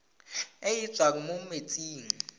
e e tswang mo metsing